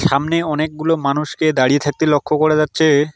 সামনে অনেকগুলো মানুষকে দাঁড়িয়ে থাকতে লক্ষ করা যাচ্ছে।